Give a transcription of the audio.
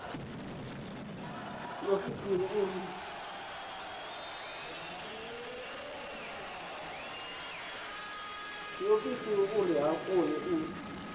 tshiofisi uri a kone u